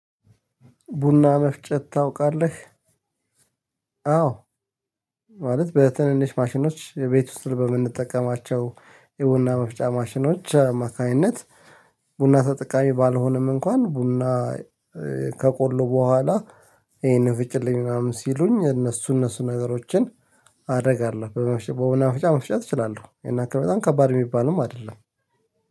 ቡና መፍጨት ታውቃለህ? አዎ። ማለት በትንንሽ ማሽኖች የቤት ውስጥ በምንጠቀማቸው የቡና መፍጫ ማሽኖች አማካኝነት። ቡና ተጠቃሚ ባልሆንም እንኳን ቡና። ከቆሎ በኋላ ይሄን ፍጭልኝ ምናምን ሲሉኝ እነሱ እነሱ ነገሮችን አደርጋለሁ በመፍጨ በቡና መፍጨት እችላለሁ። ያን ያህል ከባጣም ከባድ የሚባልም አይደለም